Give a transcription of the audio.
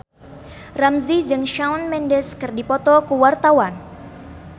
Ramzy jeung Shawn Mendes keur dipoto ku wartawan